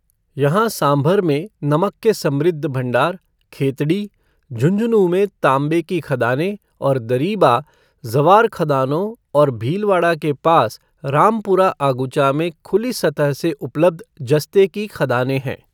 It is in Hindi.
यहाँ सांभर में नमक के समृद्ध भंडार, खेतड़ी, झुंझुनू में तांबें की खदानें, और दरीबा, ज़वार खदानों और भीलवाड़ा के पास रामपुरा आगुचा में खुली सतह से उपलब्ध जस्ते की खदानें है।